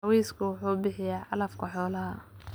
Cawsku wuxuu bixiyaa calafka xoolaha.